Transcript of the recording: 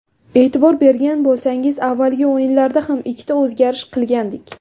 E’tibor bergan bo‘lsangiz, avvalgi o‘yinlarda ham ikkita o‘zgarish qilgandik.